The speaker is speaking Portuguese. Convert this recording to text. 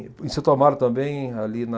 Em Santo Amaro também, ali na...